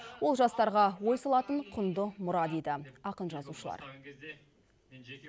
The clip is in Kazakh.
ол жастарға ой салатын құнды мұра дейді ақын жазушылар